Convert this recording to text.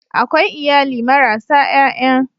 Akwai iyali marasa ƴaƴa.